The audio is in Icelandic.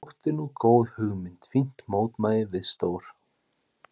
Þetta þótti nú góð hugmynd, fínt mótvægi við stór